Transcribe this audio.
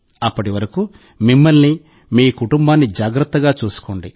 అప్పటి వరకు మిమ్మల్ని మీ కుటుంబాన్ని జాగ్రత్తగా చూసుకోండి